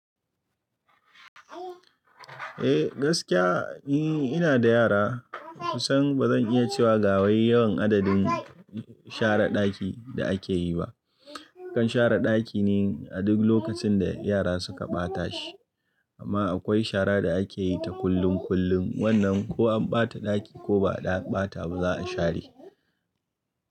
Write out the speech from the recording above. Eh gaskiya, ni inada yara. Kusan bazan iya cewa ga wai yawan adadin share ɗaki da ake yi ba. Akan share ɗaki ne a duk lokacin da yara suka ɓata shi. Amma akwai shara da ake yi ta kullun kullun. Wanna ko an ɓata ɗaki ko ba a ɓata ba za a share.